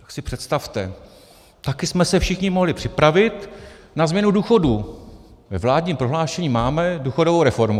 Tak si představte, také jsme se všichni mohli připravit na změnu důchodů, ve vládním prohlášení máme důchodovou reformu.